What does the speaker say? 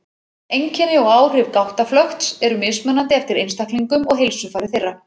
Einkenni og áhrif gáttaflökts eru mismunandi eftir einstaklingum og heilsufari þeirra.